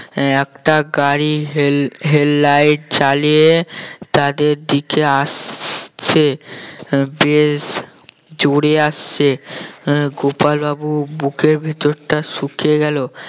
একটা গাড়ির head~ head light চালিয়ে তাদের দিকে আসছে বেশ জোরে আসছে আহ গোপাল বাবুর বুকের ভেতরটা শুকিয়ে গেল